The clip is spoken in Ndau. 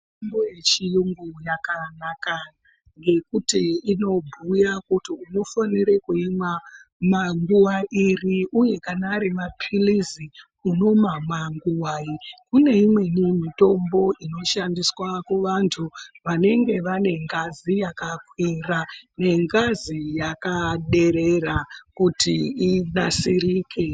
Mitombo yechiyungu yakanaka ngekuti inobhuya kuti unofanira kuimwa nguwa iri uye kana ari mapilizi unomamwa nguwai. Kune imweni mitombo inoshandiswa kuvanthu vanenge vane ngazi yakakwira nengazi yakaderera kuti inasirike.